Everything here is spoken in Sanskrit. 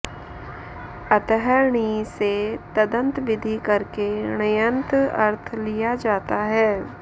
अतः णि से तदन्तविधि करके ण्यन्त अर्थ लिया जाता है